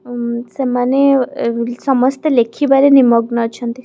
ଉମ୍ ସେମାନେ ଅ ସମସ୍ତେ ଲେଖିବାରେ ନିମଗ୍ନ ଅଛନ୍ତି ।